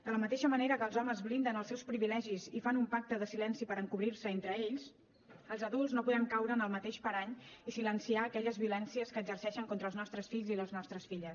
de la mateixa manera que els homes blinden els seus privilegis i fan un pacte de silenci per encobrir se entre ells els adults no podem caure en el mateix parany i silenciar aquelles violències que exerceixen contra els nostres fills i les nostres filles